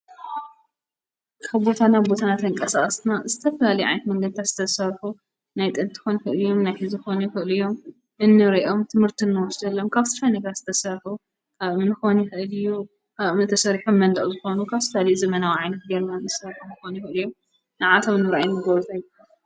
ካብ ቦታ ናብ ቦታ እናተንቀሳቐስና ዝተፈላለየ ዓይነት መንገድታት ዝተሰርሑ ናይ ጥንቲ ክኾኑ ይኽእሉ እዮም፣ ናይ ሕዚ ክኾኑ ይኽእሉ እዮም፣ እንሪኦም ትምህርቲ ንወስደሎም ካብ ዝተፈላለዩ ነገር ዝተሰርሑ፣ ካብ እምኒ ክኾን ይኽእል እዩ፣ ካብ እምኒ ተሰሪሖም መንደቕ ዝኾኑ፣ ካብ ዝተፈላለዩ ዘበናዊ ዓይነት ጌርና ንሰርሖም ክኾኑ ይኽእሉ እዮም ንዓዓቶም ንምርኣይ እንገብሮ...